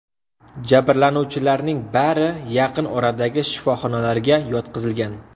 Jabrlanuvchilarning bari yaqin oradagi shifoxonalarga yotqizilgan.